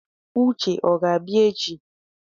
Uche o ga-abịa echi?